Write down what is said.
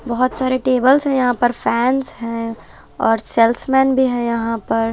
बहोत सारे टेबल्स हैं यहां पर फैंस हैं और सेल्समेन भी है यहां पर--